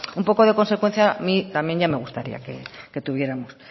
un poco de consecuencia a mí también ya me gustaría que tuviéramos